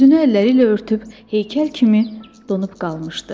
Üzünü əlləriylə örtüb heykəl kimi donub qalmışdı.